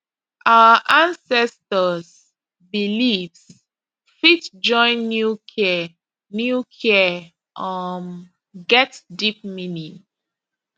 our ancestors beliefs fit join new care new care um get deep meaning